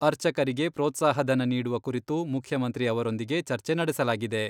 ಅರ್ಚಕರಿಗೆ ಪ್ರೋತ್ಸಾಹಧನ ನೀಡುವ ಕುರಿತು ಮುಖ್ಯಮಂತ್ರಿ ಅವರೊಂದಿಗೆ ಚರ್ಚೆ ನಡೆಸಲಾಗಿದೆ.